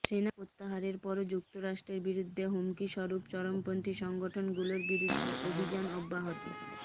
সেনা প্রত্যাহারের পরও যুক্তরাষ্ট্রের বিরুদ্ধে হুমকিস্বরূপ চরমপন্থি সংগঠনগুলোর বিরুদ্ধে অভিযান অব্যাহত